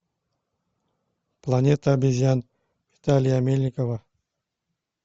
планета обезьян виталия мельникова